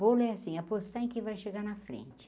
Bolo é assim, apostar em que vai chegar na frente.